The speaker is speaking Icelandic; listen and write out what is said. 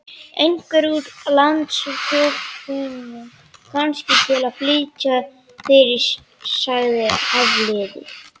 Einhvern úr landsfjórðungnum, kannski, til að flýta fyrir sagði Hafliði.